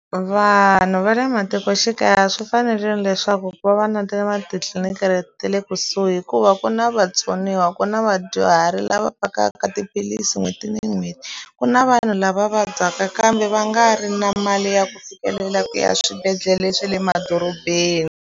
Vanhu va le matikoxikaya swi fanerile leswaku ku va va na ta ma titliliniki ta le kusuhi hikuva ku na vatsoniwa ku na vadyuhari lava vhakaka tiphilisi n'hweti ni n'hweti ku na vanhu lava vabyaka kambe va nga ri na mali ya ku fikelela ku ya swibedhlele swa le madorobeni.